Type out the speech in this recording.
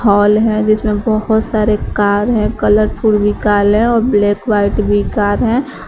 Hall है जिसमें बहोत सारे कार हैं कलरफुल भी काल हैं और ब्लैक व्हाइट भी कार हैं।